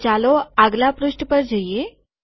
તો ચાલો આગલા પૃષ્ઠ પર જઈએ